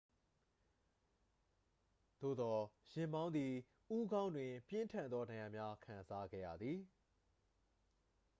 သို့သော် ယာဉ်မောင်းသည် ဦးခေါင်းတွင် ပြင်းထန်သော ဒဏ်ရာများ ခံစားခဲ့ရသည်